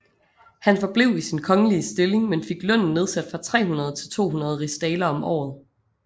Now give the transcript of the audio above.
Han forblev i sin kongelige stilling men fik lønnen nedsat fra 300 til 200 rigsdaler om året